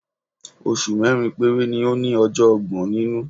Oṣù mẹ́rin péré ni ó ní ọjọ́ ọgbọ̀n nínú.